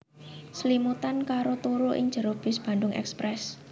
Slimutan karo turu ing jero bis Bandung Express